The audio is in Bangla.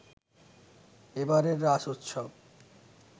এবারের রাস উৎসব